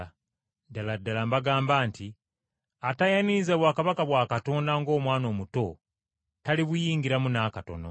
Ddala ddala mbagamba nti atayaniriza bwakabaka bwa Katonda ng’omwana omuto, talibuyingiramu n’akatono.”